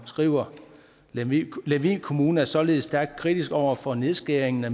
skriver lemvig lemvig kommune er således stærkt kritisk over for nedskæringen af